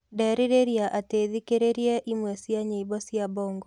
ndĩreriria ati thikĩrirĩe ĩmwe cĩa nyĩmbo cĩa bongo